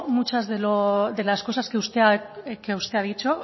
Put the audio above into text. muchas de las cosas que usted ha dicho